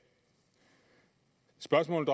spørgsmålet